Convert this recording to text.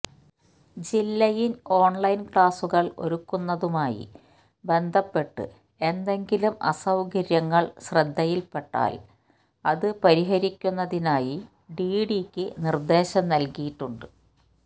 ജില്ലയില് ഓണ്ലൈന് ക്ലാസുകള് ഒരുക്കുന്നതുമായി ബന്ധപ്പെട്ട് എന്തെങ്കിലും അസൌകര്യങ്ങള് ശ്രദ്ധയില്പ്പെട്ടാല് അത് പരിഹരിക്കുന്നതിനായി ഡിഡിഇക്ക് നിര്ദേശം നല്കിയിട്ടുണ്ട്